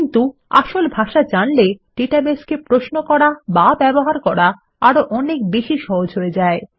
কিন্তু আসল ভাষা জানলে ডেটাবেসকে প্রশ্ন করা বা ব্যবহার করা আরো অনেক বেশি সহজ হয়ে যায়